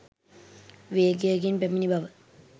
වේගයකින් පැමිණි බව